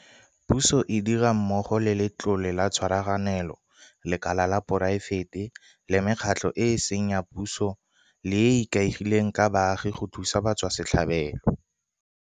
Puso e dira mmogo le Letlole la Tshwaraganelo, lekala la poraefete le mekgatlho e e seng ya puso le e e ikaegileng ka baagi go thusa batswasetlhabelo.